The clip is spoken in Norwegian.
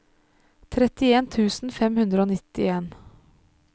trettien tusen fem hundre og nittien